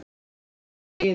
Reykjavík: Iðunn.